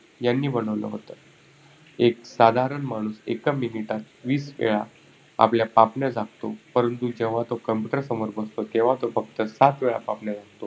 यांनी बनवलं होत. एक साधारण माणूस एक minute मध्ये वीस वेळा आपल्या पापण्या झाकतो परंतु जेव्हा तो computer समोर बसतो तेव्हा तो फक्त सात वेळा पापण्या झाकतो.